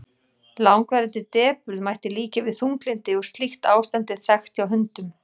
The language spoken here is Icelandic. langvarandi depurð mætti líkja við þunglyndi og slíkt ástand er þekkt hjá hundum